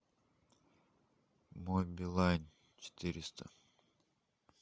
мой билайн четыреста